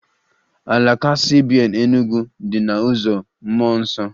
Alaka CBN Enugwu dị na uzo Mmụọ Nsọ